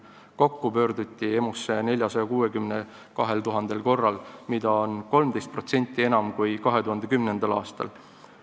Kokku pöörduti EMO-sse 460 200 korral, mida on 13% enam kui 2010. aastal.